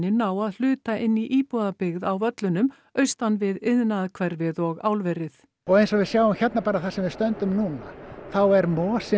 ná að hluta inn í íbúðabyggð á Völlunum austan við iðnaðarhverfið og álverið og eins og við sjáum hérna þar sem við stöndum núna þá er mosi